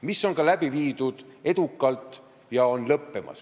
See on edukalt läbi viidud ja on lõppemas.